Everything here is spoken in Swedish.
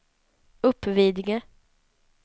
Uppvidinge